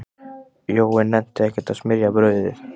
Jói nennti ekkert að smyrja brauðið.